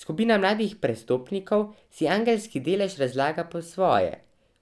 Skupina mladih prestopnikov si angelski delež razlaga po svoje,